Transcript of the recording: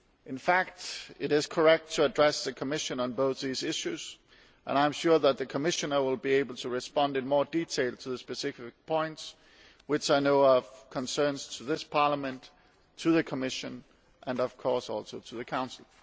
In fact, it is correct to address the Commission on both these issues and I am sure that the Commissioner will be able to respond in more detail to the particular points which I know are of concern to this Parliament, to the Commission and, of course, to the Council.